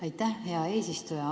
Aitäh, hea eesistuja!